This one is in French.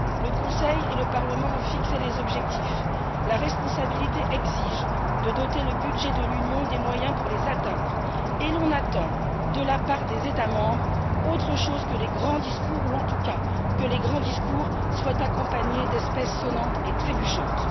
Le Conseil et le Parlement ont fixé les objectifs. La responsabilité exige de doter le budget de l'Union des moyens pour les atteindre et l'on attend de la part des États membres autre chose que les grands discours ou, en tout cas, que les grands discours soient accompagnés d'espèces sonnantes et trébuchantes.